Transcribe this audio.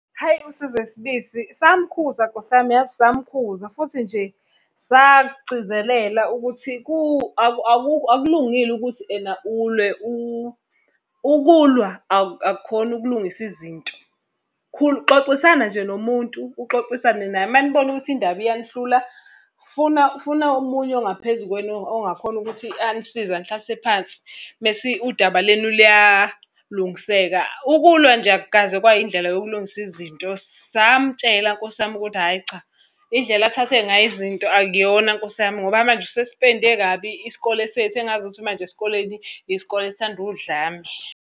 Hhayi uSizwe Sibisi, samukhuza Nkosi yami, yazi samukhuza. Futhi nje sakugcizelela ukuthi akulungile ukuthi ena ulwe ukulwa akukhona ukulungisa izinto. Xoxisana nje nomuntu, uxoxisane naye, uma nibona ukuthi indaba iyanihlula, funa funa omunye ongaphezu kwenu ongakhona ukuthi anisize anihlalise phansi, mese udaba lenu luyalungiseka. Ukulwa nje akukaze kwayindlela yokulungisa izinto. Samtshela Nkosi yami ukuthi, hhayi cha, indlela athathe ngayo izinto akuyona Nkosi yami ngoba manje usesipende kabi isikole sethu engazukuthi manje esikoleni, isikole esithanda udlame.